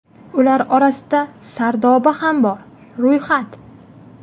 Ular orasida Sardoba ham bor (ro‘yxat).